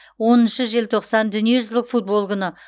оныншы желтоқсан дүниежүзілік футбол күні